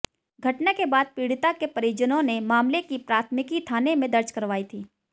घटना के बाद पीड़िता के परिजनों ने मामले की प्राथमिकी थाने में दर्ज करवाई थी